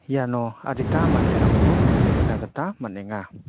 iano adita manderangko nikna gita man·enga.